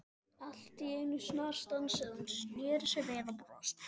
Allt í einu snarstansaði hún, snéri sér við og brosti.